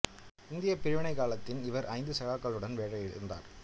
இந்தியப் பிரிவினைக் காலத்தில் இவர் ஐந்து சகாக்களுடன் வேலையை இழந்தார்